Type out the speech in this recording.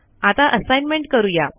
आता असाईनमेंट करू या